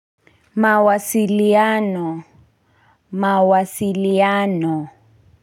Mawasiliano mawasiliano.